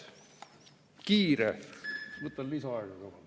Võtan lisaaega ka palun.